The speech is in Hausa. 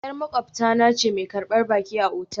Yar maƙwabta na ce mai karbar baki a otal